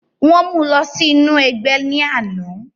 wọ̀n mú u lọ sí inú ẹgbẹ́ ní àná